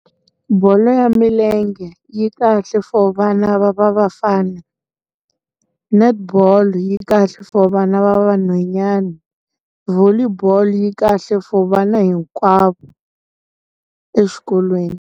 Bolo ya milenge yi kahle for vana va vafana netball yi kahle for vana va vanhwanyani volley bolo yi kahle for vana hinkwavo exikolweni.